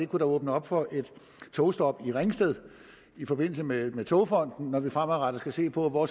kunne åbne op for et togstop i ringsted i forbindelse med togfonden dk når vi fremadrettet skal se på hvor